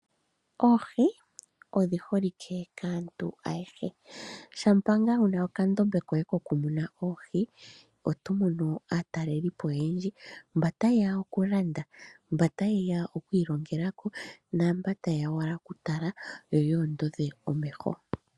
Oohi odhi holike kaantu ayehe. Shampa ngaa wu na okandombe koye kokumuna oohi, oto mono aatalelipo oyendji, mba taye ya okulanda, mba taye ya okwiilongela ko, naamba taye ya owala okutala yo yoondodhe omeho.